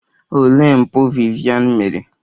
Olee mpụ Vivian mere?